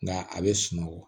Nka a bɛ sunɔgɔ